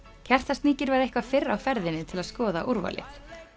Kertasníkir var eitthvað fyrr á ferðinni til að skoða úrvalið